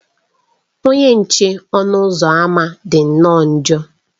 Onye nche ọnụ ụzọ ámá dị nnọọ njọ.